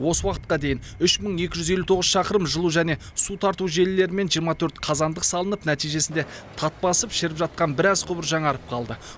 осы уақытқа дейін үш мың екі жүз елу тоғыз шақырым жылу және су тарту желілері мен жиырма төрт қазандық салынып нәтижесінде тат басып шіріп жатқан біраз құбыр жаңарып қалды